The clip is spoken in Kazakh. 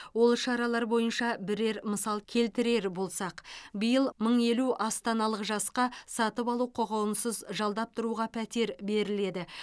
ол шаралар бойынша бірер мысал келтірер болсақ биыл мың елу астаналық жасқа сатып алу құқығынсыз жалдап тұруға пәтер беріледі